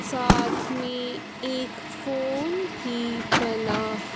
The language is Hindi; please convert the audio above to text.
साथ में एक फोन भी बना--